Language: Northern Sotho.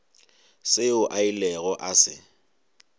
seo a ilego a se